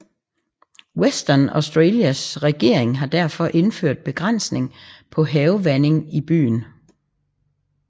Western Australias regering har derfor indført begrænsning på havevanding i byen